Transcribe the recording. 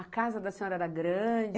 A casa da senhora era grande?